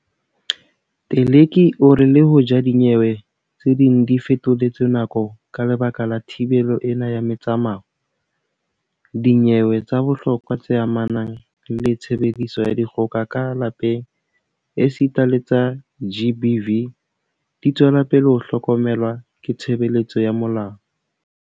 Teleki o re le hoja dinyewe tse ding di fetoletswe nako ka lebaka la thibelo ena ya metsamao, dinyewe tsa bohlokwa tse amanang le tshebediso ya dikgoka ka lapeng esita le tsa GBV di tswela pele ho hlokomelwa ke tshebeletso ya molao.